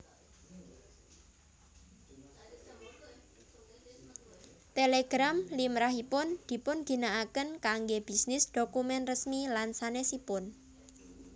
Télégram limrahipun dipunginakaken kanggé bisnis dhokumen resmi lan sanèsipun